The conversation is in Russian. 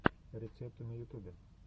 рецепты на ютубе